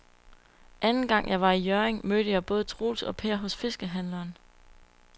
Anden gang jeg var i Hjørring, mødte jeg både Troels og Per hos fiskehandlerne.